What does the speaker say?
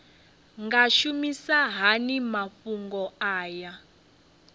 nga shumisa hani mafhumgo aya